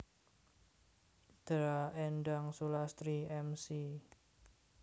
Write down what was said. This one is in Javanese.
Dra Endang Sulastri M Si